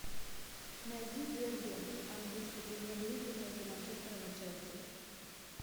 найди дерби английской премьер лиги между манчестером и челси